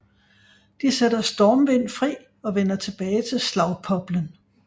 De sætter Stormvind fri og vender tilbage til Slagpoplen